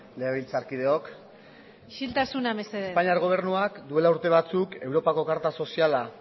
legebitlzarkideok isiltasuna mesedez espainiar gobernuak orain dela urte batzuk europako karta soziala